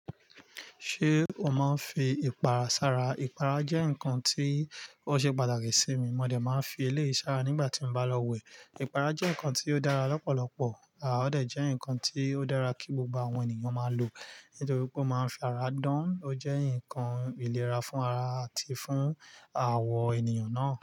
Ṣé o máa ń fi ìpara sára? Ìpara jẹ́ nǹkan tí ó ṣe pàtàkì sí mi. Mo dè máa ń fi eleyii si arin nígbà tí mo bá lọ wẹ̀. Ìpara jẹ́ nǹkan tí ó dára lọ́pọ̀lọpọ̀, à ọdẹ̀ jẹ́ nǹkan tí ó dára kí gbogbo àwọn ènìyàn máa lò nítorí pé ó máa ń fi ara dán. Ó jẹ́ nǹkan ìlera fún ara àti fún àwọ ènìyàn náà.